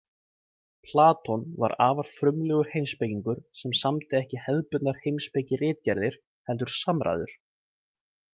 Platon var afar frumlegur heimspekingur sem samdi ekki hefðbundnar heimspekiritgerðir heldur samræður.